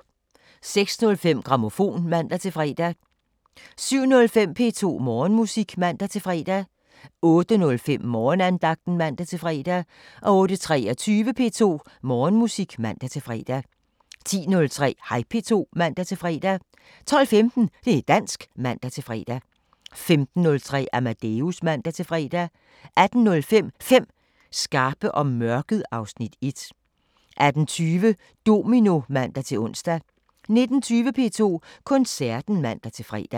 06:05: Grammofon (man-fre) 07:05: P2 Morgenmusik (man-fre) 08:05: Morgenandagten (man-fre) 08:23: P2 Morgenmusik (man-fre) 10:03: Hej P2 (man-fre) 12:15: Det' dansk (man-fre) 15:03: Amadeus (man-fre) 18:05: 5 skarpe om mørket (Afs. 1) 18:20: Domino (man-ons) 19:20: P2 Koncerten (man-fre)